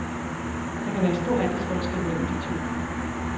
Der kan være stor aldersforskel mellem de to.